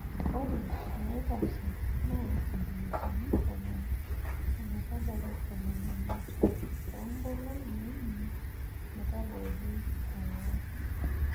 Ore naitashe naa sentimitai tomon ometabaiki tomon omiet too nkolong'I uni metabaiki ong'wan.